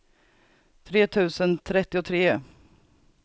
tre tusen trettiotre